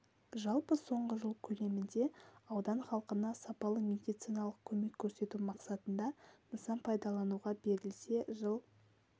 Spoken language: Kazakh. жалпы соңғы жыл көлемінде аудан халқына сапалы медициналық көмек көрсету мақсатында нысан пайдалануға берілсе жыл